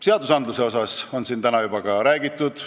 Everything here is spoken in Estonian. Seadustest on siin täna juba ka räägitud.